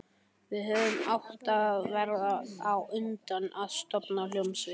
Við hefðum átt að verða á undan að stofna hljómsveit.